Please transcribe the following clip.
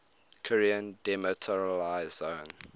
korean demilitarized zone